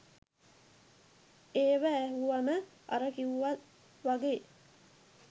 ඒව ඇහුවම අර කිව්වත් වගේ